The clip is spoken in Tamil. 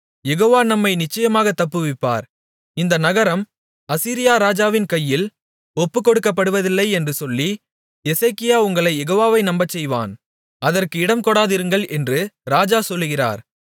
யெகோவா நம்மை நிச்சயமாகத் தப்புவிப்பார் இந்த நகரம் அசீரியா ராஜாவின் கையில் ஒப்புக்கொடுக்கப்படுவதில்லை என்று சொல்லி எசேக்கியா உங்களைக் யெகோவாவை நம்பச்செய்வான் அதற்கு இடம்கொடாதிருங்கள் என்று ராஜா சொல்லுகிறார்